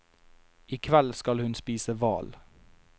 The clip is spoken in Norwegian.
I kveld skal hun spise hval.